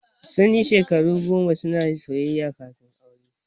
Sun yi shekaru goma suna soyayya kafin aure.